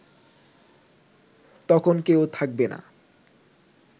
তখন কেউ থাকবে না